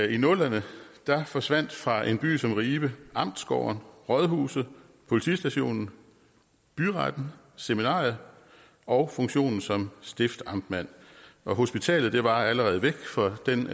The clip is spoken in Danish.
i nullerne forsvandt fra en by som ribe amtsgården rådhuset politistationen byretten seminariet og funktionen som stiftamtmand hospitalet var allerede væk for den